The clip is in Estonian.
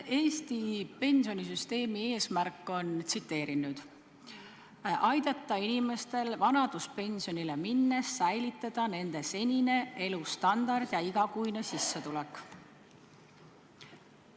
Eesti pensionisüsteemi eesmärk on, tsiteerin nüüd: "aidata inimestel vanaduspensionile minnes säilitada nende senine elustandard ja igakuine sissetulek".